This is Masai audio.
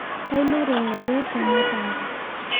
Kailure ngole tematanga